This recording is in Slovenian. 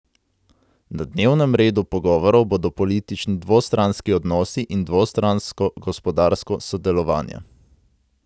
Na dnevnem redu pogovorov bodo politični dvostranski odnosi in dvostransko gospodarsko sodelovanje.